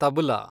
tabla